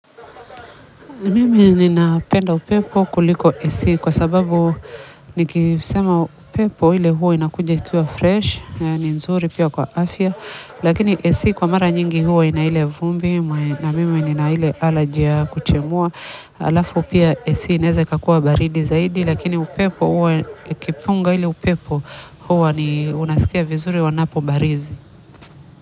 Mimi ninapenda upepo kuliko AC kwa sababu nikisema upepo ile huwa inakuja ikiwa fresh, na ni nzuri pia kwa afya, lakini AC kwa mara nyingi huo ina ile vumbi, na mimi nina ile alergy ya kuchemua, alafu pia AC inaweza ikakua baridi zaidi, lakini upepo huwa kipunga ile upepo huwa, ni unasikia vizuri wanapobarizi.